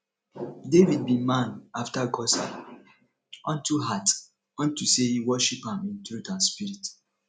david be man after gods heart unto heart unto say he worship am in truth and spirit